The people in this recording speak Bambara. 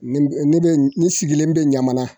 Ne de ne sigilen bɛ ɲamana